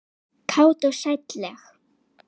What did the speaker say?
Kát og sælleg.